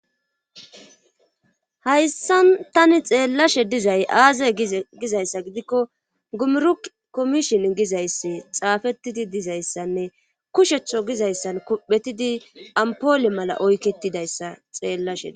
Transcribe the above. Hayssa tani xeellashe dizay aazay gizayssa gidikko gumuru komishin gizayssi xaafettidi dizayssanne kusheththo gizayssan kuphetidi ampole mala oykketidayssa xeellashei